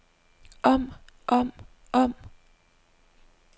om om om